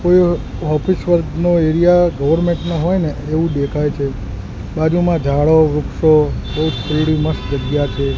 કોઇ ઑફિસ વર્ગનો area government નો હોય ને એવુ દેખાય છે બાજુમાં ઝાડો વૃક્ષો મસ્ત જગ્યા છે.